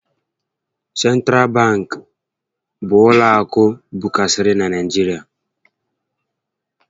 Sentral babkị bụ ụlọ akụ bụkarịsịrị na Naịjirịa